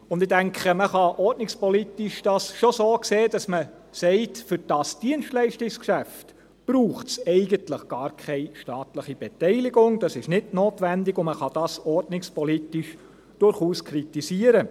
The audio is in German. Ich denke, man kann das ordnungspolitisch schon so sehen, dass man sagt: Für das Dienstleistungsgeschäft braucht es eigentlich gar keine staatliche Beteiligung, das ist nicht notwendig, und man kann das ordnungspolitisch durchaus kritisieren.